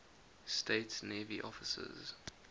states navy officers